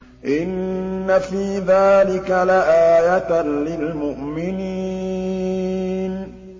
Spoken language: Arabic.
إِنَّ فِي ذَٰلِكَ لَآيَةً لِّلْمُؤْمِنِينَ